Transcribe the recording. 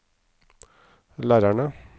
lærerne